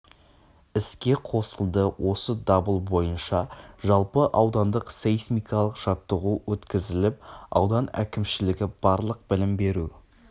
іске қосылды осы дабыл бойынша жалпы аудандық сейсмикалық жаттығу өткізіліп аудан әкімшілігі барлық білім беру